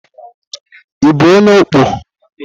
Ị bụ onye ọkpọ?